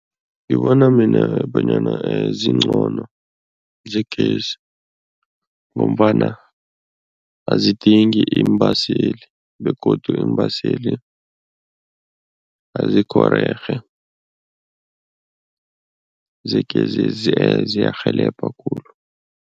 Ngibona mina bonyana zingcono zegezi ngombana azidingi iimbaseli begodu iimbaseli azikhorerhe, zegezezi ziyarhelebha khulu.